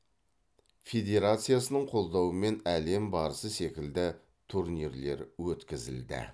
федерацияның қолдауымен әлем барысы секілді турнирлер өткізілді